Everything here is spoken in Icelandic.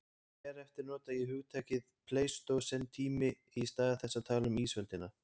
Hér eftir nota ég hugtakið pleistósentími í stað þess að tala um ísöldina.